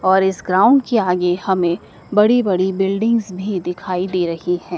और इस ग्राउंड के आगे हमें बड़ी बड़ी बिल्डिंग्स भी दिखाई दे रही हैं।